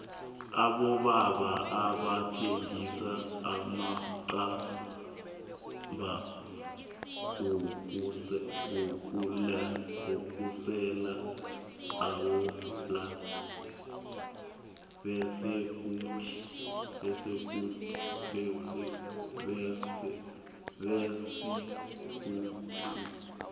abobaba abathengisa amaxhabha wokusela utjwala besikhethu